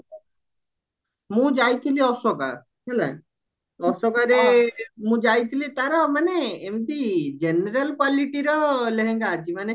ମୁଁ ଯାଇଥିଲି ଅଶୋକା ହେଲା ଅଶୋକାରେ ମୁଁ ଯାଇଥିଲି ତାର ମାନେ ଏମତି general qualityର ଲେହେଙ୍ଗା ଅଛି ମାନେ